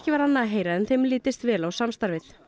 annað að heyra en þeim litist vel á samstarfið